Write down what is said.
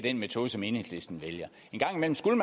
i metoden som enhedslisten